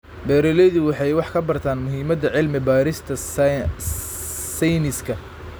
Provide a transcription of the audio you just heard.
Beeraleydu waxay wax ka bartaan muhiimadda cilmi-baarista sayniska.